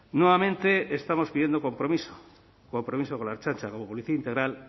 nuevamente estamos pidiendo compromiso compromiso con la ertzaintza como policía integral